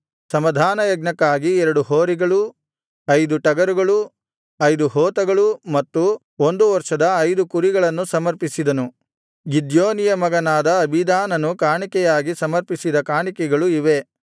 ಸಮಾಧಾನಯಜ್ಞಕ್ಕಾಗಿ ಎರಡು ಹೋರಿಗಳು ಐದು ಟಗರುಗಳು ಐದು ಹೋತಗಳು ಮತ್ತು ಒಂದು ವರ್ಷದ ಐದು ಕುರಿಗಳನ್ನು ಸಮರ್ಪಿಸಿದನು ಗಿದ್ಯೋನಿಯ ಮಗನಾದ ಅಬೀದಾನನು ಕಾಣಿಕೆಯಾಗಿ ಸಮರ್ಪಿಸಿದ ಕಾಣಿಕೆಗಳು ಇವೇ